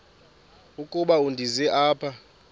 ukuba ndize apha